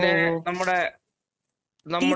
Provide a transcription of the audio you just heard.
speaker 2 പിന്നെ നമ്മുടെ നമ്മുടെ